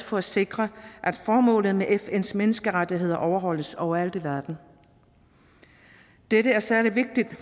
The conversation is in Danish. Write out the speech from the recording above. for at sikre at formålet med fns menneskerettigheder overholdes overalt i verden dette er særlig vigtigt